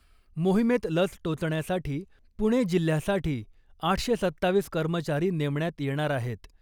मोहिमेत लस टोचण्यासाठी पुणे जिल्ह्यासाठी आठशे सत्तावीस कर्मचारी नेमण्यात येणार आहेत .